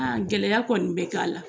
Gɛlɛyaya kɔni bɛ k'a la.